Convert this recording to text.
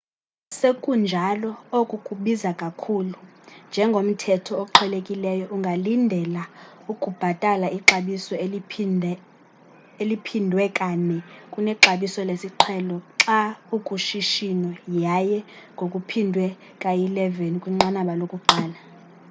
sekunjalo oku kubiza kakhulu njengomthetho oqhelekileyo ungalindela ukubhatala ixabiso eliphindwe kane kunexabiso lesiqhelo xa ukushishino yaye ngokuphindwe kayi-11 kwinqanaba lokuqala